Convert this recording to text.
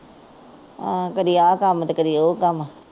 ਆਹ ਕਦੀ ਆ ਕੰਮ ਤੇ ਕਦੀ ਉਹ ਕੰਮ